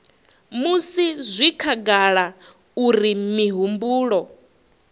musi zwi khagala uri mihumbulo